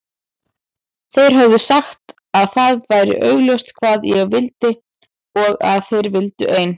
Þeir höfðu sagt að það væri augljóst hvað ég vildi og að þeir vildu ein